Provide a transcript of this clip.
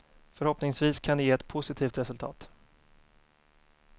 Förhoppningsvis kan det ge ett positivt resultat.